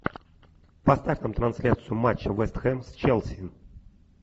поставь нам трансляцию матча вест хэм с челси